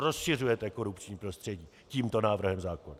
Rozšiřujete korupční prostředí tímto návrhem zákona!